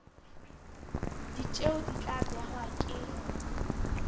ditjeo di tla behwa ke